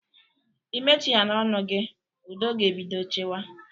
Imechighana ọnụ gị, udo ga-ebido chịwa